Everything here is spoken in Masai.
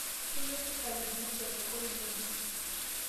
Keyieu serikali neshet sokoni ng'ejuk